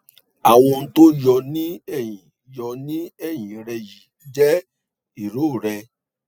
àwọn ohun tó yọ ní ẹyìn yọ ní ẹyìn rẹ yìí jẹ irorẹ